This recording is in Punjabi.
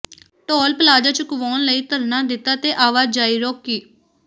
ਟੌਲ ਪਲਾਜ਼ਾ ਚੁਕਵਾਉਣ ਲਈ ਧਰਨਾ ਦਿੱਤਾ ਤੇ ਆਵਾਜਾਈ ਰੋਕੀ